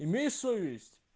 имей совесть